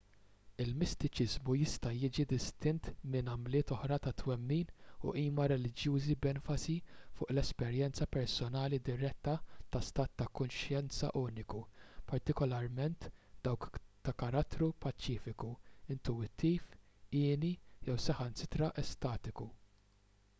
il-mistiċiżmu jista' jiġi distint minn għamliet oħra ta' twemmin u qima reliġjużi b'enfasi fuq l-esperjenza personali diretta ta' stat ta' kuxjenza uniku partikolarment dawk ta' karattru paċifiku intuwittiv hieni jew saħansitra estatiku